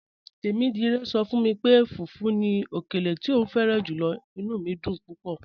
"Tẹmidire sọ fun mi pé fùfù ni ọkèlè tí o fẹ̀ràn júlọ̀, inú mi dún púpọ̀."